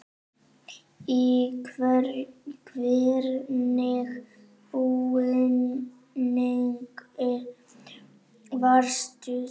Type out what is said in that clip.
Í hvernig búningi varst þú?